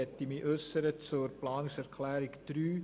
Ich möchte mich zur Planungserklärung 3 äussern.